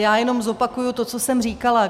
Já jenom zopakuji to, co jsem říkala.